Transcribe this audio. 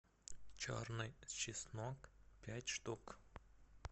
черный чеснок пять штук